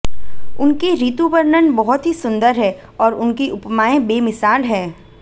उनके ऋतु वर्णन बहुत ही सुंदर हैं और उनकी उपमाएं बेमिसाल हैं